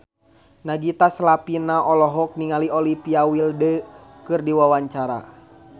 Nagita Slavina olohok ningali Olivia Wilde keur diwawancara